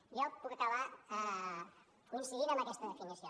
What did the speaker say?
miri jo puc acabar coincidint amb aquesta definició